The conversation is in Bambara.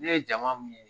Ne ye jama min ye